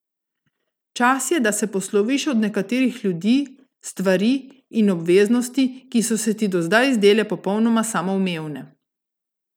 Čas je, da se posloviš od nekaterih ljudi, stvari in obveznosti, ki so se ti do zdaj zdele popolnoma samoumevne.